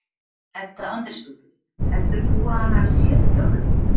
Edda Andrésdóttir: Heldur þú að hann hafi séð fjárlögin?